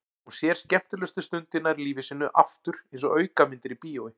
Hún sér skemmtilegustu stundirnar í lífi sínu aftur einsog aukamyndir í bíói.